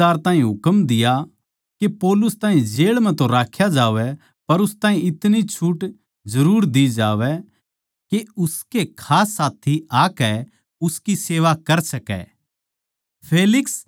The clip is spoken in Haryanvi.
उसनै सूबेदार ताहीं हुकम दिया के पौलुस ताहीं जेळ म्ह तो राख्या जावै पर उस ताहीं इतनी छुट जरुर दि जावै के उसके खास साथी आकै उसकी सेवा कर सकै